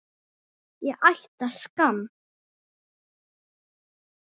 Ég ætti að skamm